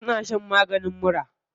Suna shan maganin mura.